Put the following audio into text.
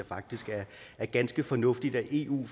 faktisk det er ganske fornuftigt at eu